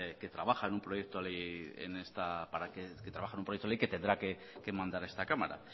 que trabaja en un proyecto que tendrá que mandar a esta cámara